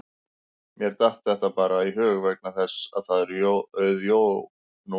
Mér datt þetta bara í hug vegna þess að það er auð jörð núna